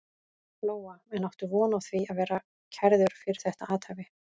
Lóa: En áttu von á því að verða kærður fyrir þetta athæfi?